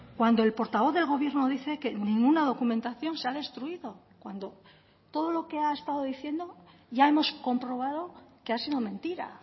cuando el portavoz del gobierno dice que ninguna documentación se ha destruido cuando todo lo que ha estado diciendo ya hemos comprobado que ha sido mentira